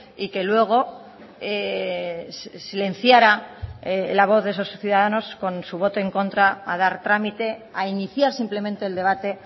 y que luego silenciara la voz de esos ciudadanos con su voto en contra a dar trámite a iniciar simplemente el debate